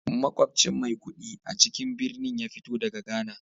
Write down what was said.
Makwabcin Maikudi a cikin birnin ya fito daga Ghana